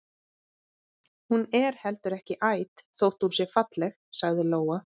Hún er heldur ekki æt þótt hún sé falleg, sagði Lóa.